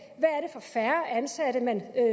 og færre ansatte